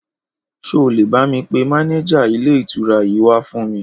Ṣó lè bá mi pé mànéjà ilé ìtura yìí wà fún mi?